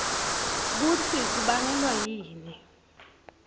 kutsi kubangelwa yini